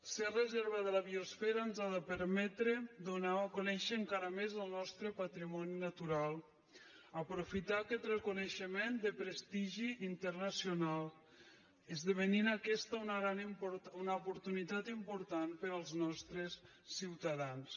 ser reserva de la biosfera ens ha de permetre donar a conèixer encara més el nostre patrimoni natural aprofitar aquest reconeixement de prestigi internacional i que esdevingui aquesta una oportunitat important per als nostres ciutadans